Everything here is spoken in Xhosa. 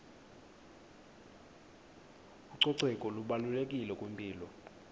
ucoceko lubalulekile kwimpilo